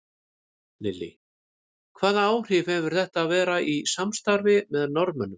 Lillý: Hvaða áhrif hefur þetta að vera í samstarfi með Norðmönnum?